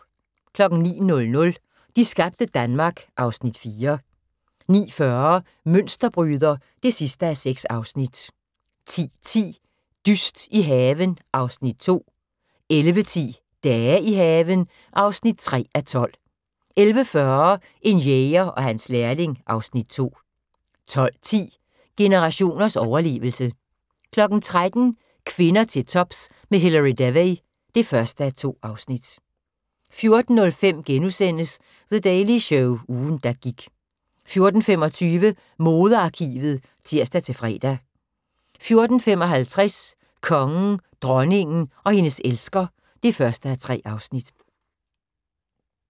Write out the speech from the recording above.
09:00: De skabte Danmark (Afs. 4) 09:40: Mønsterbryder (6:6) 10:10: Dyst i haven (Afs. 2) 11:10: Dage i haven (3:12) 11:40: En jæger og hans lærling (Afs. 2) 12:10: Generationers overlevelse 13:00: Kvinder til tops med Hilary Devey (1:2) 14:05: The Daily Show – ugen der gik * 14:25: Modearkivet (tir-fre) 14:55: Kongen, dronningen og hendes elsker (1:3)